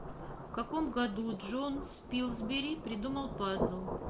в каком году джон спилсбери придумал пазл